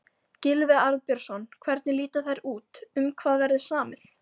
Gylfi Arnbjörnsson, hvernig líta þær út, um hvað verður samið?